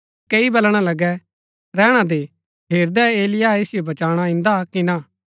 कई बलणा लगै रैहणा दे हेरदै एलिय्याह ऐसिओ बचाणा इन्दा कि ना